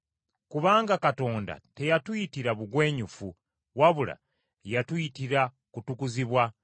Kubanga Katonda teyatuyitira bugwenyufu wabula yatuyitira kutukuzibwa.